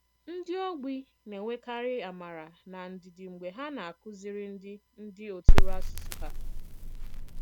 Ndị ogbi na-enwèkàrị àmàrà na ndìdì mg̀bè ha na-àkùzìrì ndị ndị òtùrò àsùsù ha.